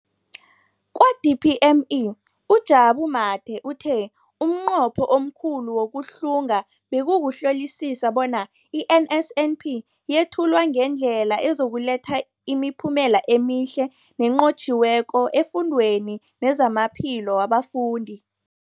Kwa-DPME, uJabu Mathe, uthe umnqopho omkhulu wokuhlunga bekukuhlolisisa bona i-NSNP yethulwa ngendlela ezokuletha imiphumela emihle nenqotjhiweko efundweni nezamaphilo wabafundi.